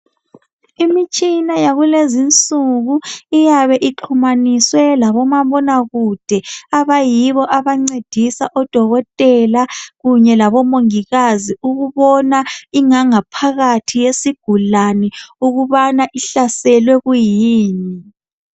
Imitshina yakulezinsuku iyabe ixhunyaniswe labomabonakude abayibo abancedisa odokotela kunye labomongikazi ukubona ingangaphakathi yesigulani ukubana ihlaselwe okungakanani.